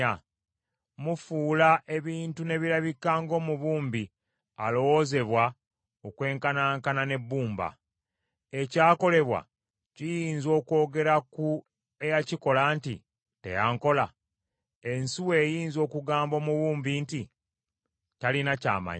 Mufuula ebintu ne birabika ng’omubumbi alowoozebwa okwenkanankana n’ebbumba. Ekyakolebwa kiyinza okwogera ku eyakikola nti, “Teyankola”? Ensuwa eyinza okugamba omubumbi nti, “Talina ky’amanyi”?